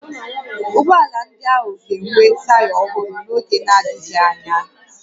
Ụgbọ ala ndị ahụ ga-enwe taya ọhụrụ n'oge n'adịghị anya